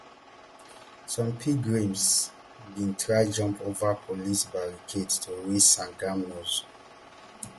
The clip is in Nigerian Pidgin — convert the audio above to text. some pilgrims bin try jump over police barricades to reach sangam nose